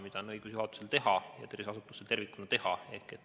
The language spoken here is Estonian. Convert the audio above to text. Seda on õigus juhatusel ja tervishoiuasutusel tervikuna teha.